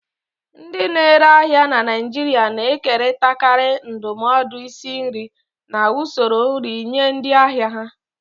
Ndị na-ere ahịa na Naijiria na-ekerịtakarị ndụmọdụ isi nri na usoro nri nye ndị ahịa ha.